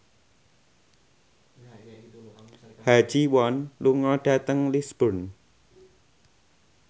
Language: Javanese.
Ha Ji Won lunga dhateng Lisburn